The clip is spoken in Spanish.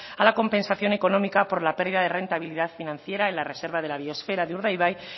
a la compensación económica por la pérdida de rentabilidad financiera en la reserva de la biosfera de urdaibai